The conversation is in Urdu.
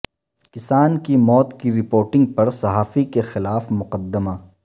کسان کی موت کی رپورٹنگ پر صحافی کے خلاف مقدمہ